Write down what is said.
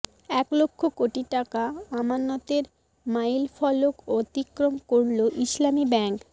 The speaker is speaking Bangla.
এক লক্ষ কোটি টাকা আমানতের মাইল ফলক অতিক্রম করল ইসলামী ব্যাংক